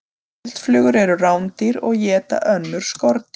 Eldflugur eru rándýr og éta önnur skordýr.